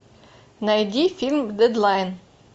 найди фильм дедлайн